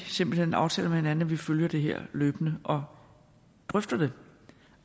simpelt hen aftaler med hinanden at vi følger det her løbende og drøfter det